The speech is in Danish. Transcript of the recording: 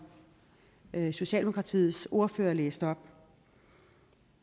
socialdemokratiets ordfører læste op